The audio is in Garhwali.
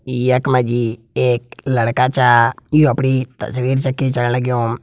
यखमा जी एक लड़का च यो अपणी तस्वीर छ खिचणु लग्युं।